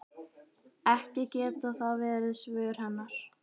Ekki geta það verið svör hennar.